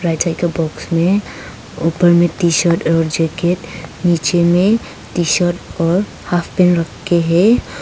Side box में ऊपर में टी शर्ट और जैकेट नीचे में टी शर्ट और हॉफ पैंट रखे है।